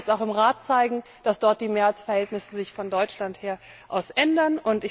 Es muss sich jetzt auch im Rat zeigen, dass sich die Mehrheitsverhältnisse von Deutschland her ändern.